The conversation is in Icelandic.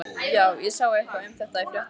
Já, ég sá eitthvað um þetta í fréttunum.